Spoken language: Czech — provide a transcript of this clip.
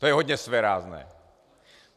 To je hodně svérázné.